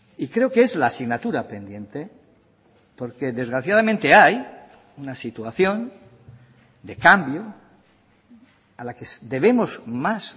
y creo que es la asignatura pendiente porque desgraciadamente hay una situación de cambio a la que debemos más